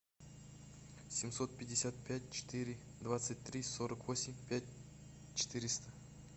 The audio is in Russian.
семьсот пятьдесят пять четыре двадцать три сорок восемь пять четыреста